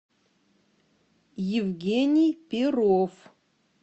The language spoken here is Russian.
евгений перов